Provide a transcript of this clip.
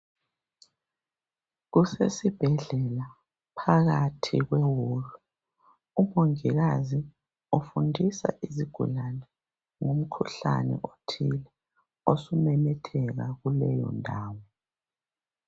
Kusesibhedlela phakathi kweholo umongikazi ufundisa izigulane ngomkhuhlane othile osumemetheka kuleyo ndawo.